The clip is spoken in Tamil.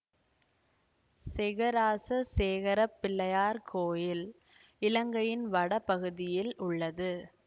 செகராசசேகரப் பிள்ளையார் கோயில் இலங்கையின் வட பகுதியில் உள்ளது